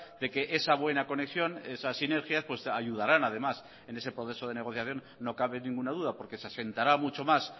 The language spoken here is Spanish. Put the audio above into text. de que esa buena conexión esas sinergias ayudarán además en ese proceso de negociación no cabe ninguna duda porque se asentará mucho más